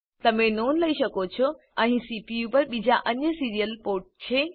તમે નોંધ લઇ શકો છો કે અહીં સીપીયુ પર બીજા અન્ય સીરીયલ પોર્ટ છે